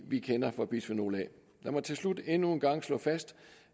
vi kender fra bisfenol a lad mig til slut endnu en gang slå fast